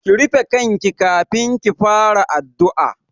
Ki rufe kanki kafin ki fara addu'a!